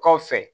Kɔfɛ